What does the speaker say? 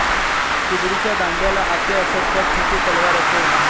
कुबडीच्या दांड्याला आटे असत त्यात छोटी तलवार असे